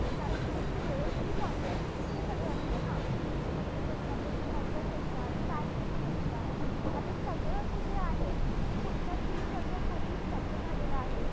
कारण त्यांची वेळोवेळी concerts ते सगळं असतं ना. त्यांच्या असतात, त्यांच्या concerts असतात. fan basis असतात. आता सगळं ते जे आहे ते पुढच्या तीन वर्षांसाठी स्तब्ध झालेलं आहे.